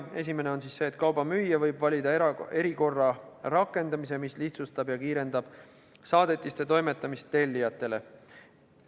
Esimene on see, et kauba müüja võib valida erikorra rakendamise, mis lihtsustab ja kiirendab saadetiste toimetamist tellijatele.